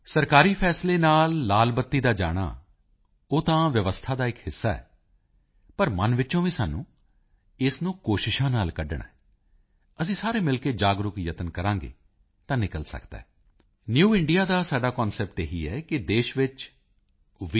ਸਰਕਾਰੀ ਫੈਸਲੇ ਨਾਲ ਲਾਲ ਬੱਤੀ ਦਾ ਜਾਣਾ ਉਹ ਤਾਂ ਵਿਵਸਥਾ ਦਾ ਇਕ ਹਿੱਸਾ ਹੈ ਪਰ ਮਨ ਵਿੱਚੋਂ ਵੀ ਸਾਨੂੰ ਇਸ ਨੂੰ ਕੋਸ਼ਿਸ਼ਾਂ ਨਾਲ ਕੱਢਣਾ ਹੈ ਅਸੀਂ ਸਾਰੇ ਮਿਲ ਕੇ ਜਾਗਰੂਕ ਯਤਨ ਕਰਾਂਗੇ ਤਾਂ ਨਿਕਲ ਸਕਦਾ ਹੈ ਨਿਊ ਇੰਡੀਆ ਦਾ ਸਾਡਾ ਕਨਸੈਪਟ ਇਹੀ ਹੈ ਕਿ ਦੇਸ਼ ਵਿੱਚ ਵੀ